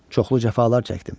Çoxlu cəfalar çəkdim.